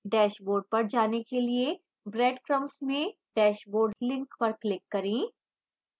dashboard पर जाने के लिए breadcrumbs में dashboard link पर click करें